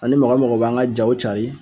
Ani mɔgɔ mɔgɔ b'an ka jaw cari.